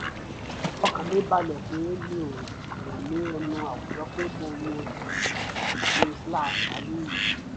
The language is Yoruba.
ọkàn mi balẹ̀ pé mi ò tẹ́lẹ̀ ẹnu àwùjọ pé mo yan ìgbé-ayé iyì